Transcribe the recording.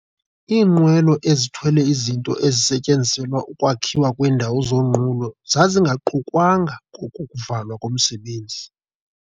Iinqwelo ezithwele izinto ezisetyenziselwa ukwakhiwa kweendawo zonqulo zazingaqukwanga kolu kuvalwa komsebenzi.